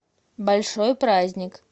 большой праздник